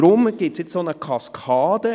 Darum gibt es jetzt eine Kaskade.